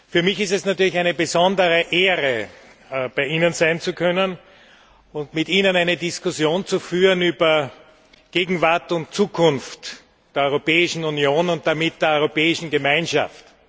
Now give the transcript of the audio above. Für mich ist es natürlich eine besondere Ehre, bei Ihnen sein zu können und mit Ihnen eine Diskussion zu führen über Gegenwart und Zukunft der Europäischen Union und damit der Europäischen Gemeinschaft.